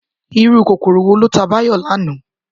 Irú kòkòrò wo ló ta Báyò lánàá?